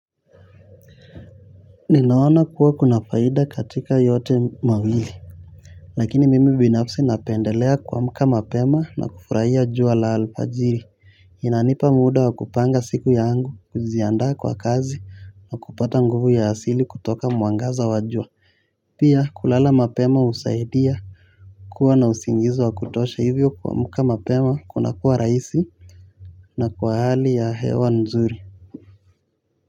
Ninaona kuwa kuna faida katika yote mawili. Lakini mimi binafsi napendelea kuamuka mapema na kufurahia jua la alfajiri. Inanipa muda wa kupanga siku ya angu, kujiandaa kwa kazi na kupata nguvu ya asili kutoka mwangaza wa jua. Pia kulala mapema husaidia kuwa na usingizi wa kutosha hivyo kuamuka mapema kuna kuwa raisi na kwa hali ya hewa nzuri.